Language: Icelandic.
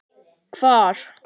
Hvar?